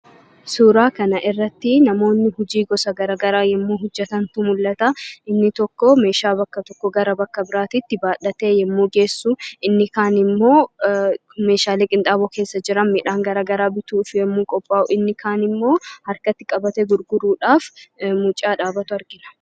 Suuraa kana irratti namoonni hojii gosa gara garaa yommuu hojjetantu mul'ata. Inni tokko meeshaa bakka tokkoo bakka biraatitti baadhatee yommuu geessu; inni kaan immoo meeshaalee qinxaaboo keessa jiran midhaan garaa garaa bituuf yommuu qophaa'u; inni kaan immoo mucaa harkatti qabatee dhaabatee gurguruuf jiru argina.